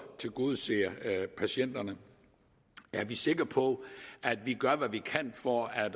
tilgodeser patienterne er vi sikre på at vi gør hvad vi kan for at